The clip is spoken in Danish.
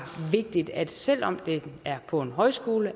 vigtigt at man selv om det er på en højskole